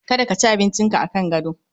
Kada ka ci abinci ka akan gado